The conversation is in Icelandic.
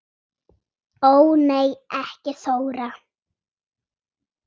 Ó nei ekki Þóra